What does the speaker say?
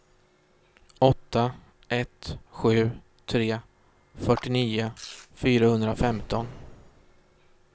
åtta ett sju tre fyrtionio fyrahundrafemton